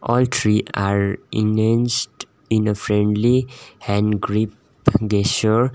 all three are in a friendly hand grip gesture.